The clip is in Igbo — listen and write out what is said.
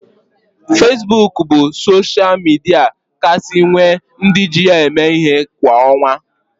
Fesbuk bụ sosha midia kasị nwe ndị ji ya eme ihe kwa ọnwa